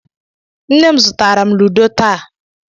Nne m zụtaara m ludo taa.